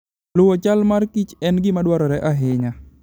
Luwo chal mar Kichen gima dwarore ahinya.